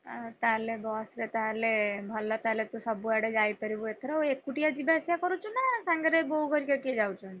ଆଉ ତାହେଲେ ବସ ରେ ତାହେଲେ ଭଲ ତାହେଲେ ତୁ ସବୁଆଡେ ଯାଇପାରିବୁ ଏଥରଆଉ ଏକୁଟିଆ ଯିବା ଆସିବା କରୁଚୁ ନା ସାଙ୍ଗରେ ବୋଉ ହରିକା କିଏ ଯାଉଛନ୍ତି?